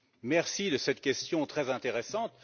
Merci de cette question très intéressante.